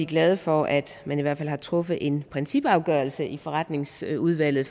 glade for at man i hvert fald har truffet en principafgørelse i forretningsudvalget